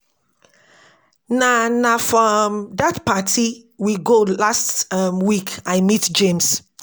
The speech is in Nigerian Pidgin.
Na Na for um dat party we go last um week I meet James